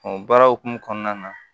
baara hukumu kɔnɔna na